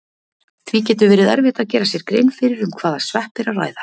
Því getur verið erfitt að gera sér grein fyrir um hvaða svepp er að ræða.